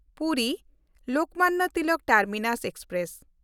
ᱯᱩᱨᱤ-ᱞᱳᱠᱢᱟᱱᱱᱚ Tilak terminus express